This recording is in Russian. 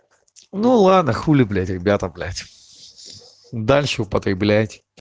ну ладно хули блять ребята блять дальше употреблять